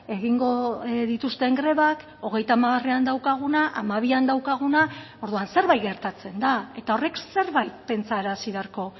egingo dituzten grebak hogeita hamarean daukaguna hamabian daukaguna orduan zerbait gertatzen da eta horrek zerbait pentsarazi beharko